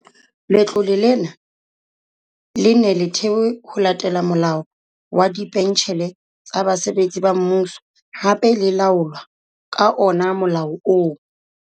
Letlole lena le ne le thewe ho latela Molao wa Dipentjhele tsa Basebetsi ba Mmuso, hape le laolwa ka ona molao ona.